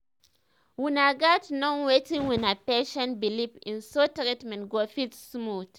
una gats know wetin una patient believe in so treatment go fit smooth